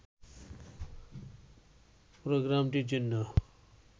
প্রোগ্রামটির জন্য